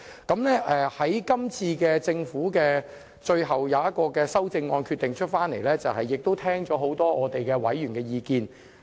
今次政府最後就修正案作出的決定，是聽取了很多委員的意見。